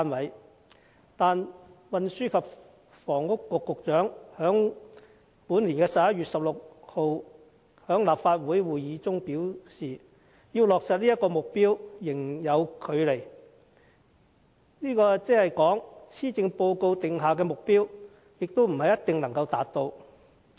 可是，運輸及房屋局局長在本年11月16日的立法會會議上表示，要落實這個目標仍有距離，即是說施政報告所訂的目標未必一定能夠達到。